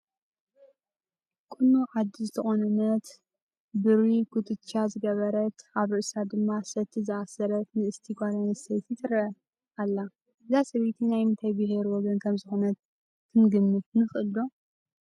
ቁኖ ዓዲ ዝተቖነነት፣ ብሪ ኩትቻ ዝገበረት፣ ኣብ ርእሳ ድማ ሰቲ ዝኣሰረት ንእስቲ ጓል ኣነስተይቲ ትርአ ኣላ፡፡ እዛ ሰበይቲ ናይ ምንታይ ብሄረሰብ ወገን ከምዝኾነት ክንግምት ንኽእል ዶ?